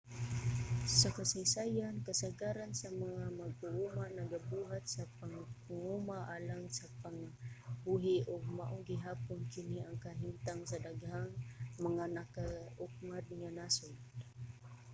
sa kasaysayan kasagaran sa mga mag-uuma nagabuhat sa pagpanguma alang sa pangabuhi ug mao gihapon kini ang kahimtang sa daghang mga nagakaugmad nga nasod